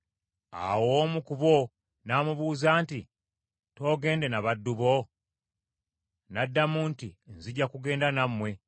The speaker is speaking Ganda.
Awo omu ku bo n’amubuuza nti, “Toogende n’abaddu bo?” N’addamu nti, “Nzija kugenda nammwe.”